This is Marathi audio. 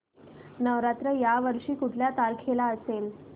नवरात्र या वर्षी कुठल्या तारखेला असेल